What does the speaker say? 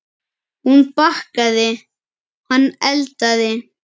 Hún bakaði, hann eldaði.